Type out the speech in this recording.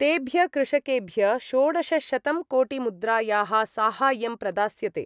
तेभ्य कृषकेभ्य षोडशशतंकोटिमुद्रायाः साहाय्यं प्रदास्यते।